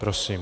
Prosím.